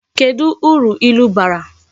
Kedu uru ilu bara?